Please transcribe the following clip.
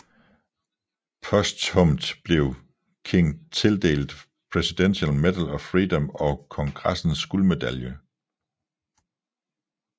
Posthumt blev King tildelt Presidential Medal of Freedom og Kongressens guldmedalje